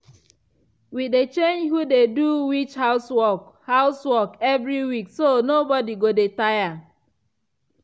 we dey change who dey do which housework housework evri week so nobody go dey tire.